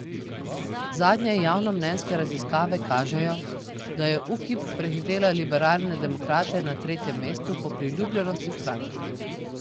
Zadnje javnomnenjske raziskave kažejo, da je Ukip prehitela liberalne demokrate na tretjem mestu po priljubljenosti strank.